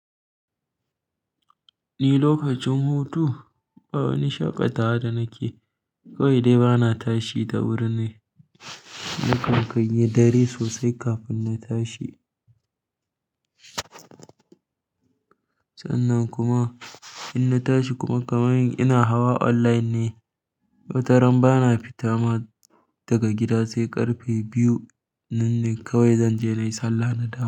Ni lokacin hutu ba wani shaƙatawa da nake, kawai dai bana tashi da wuri ne. Nakan kayi dare sosai kafin na tashi. Sannan kuma in na tashi kuma kamar yadda ina hawa online ne. Wata ran bana fita ma daga gida sai ƙarfe biyu nan ne kawai zanje nayi sallah na dawo.